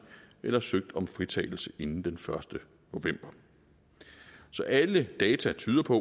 eller søgt om fritagelse inden den første november så alle data tyder på